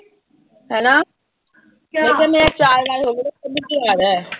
ਮੈਂ ਕਿਆ ਮੇਰਾ ਚਾਰ ਵਾਰੀ ਹੋਗਿਆ, ਪੰਜਵੀਂ ਵਾਰ ਆ।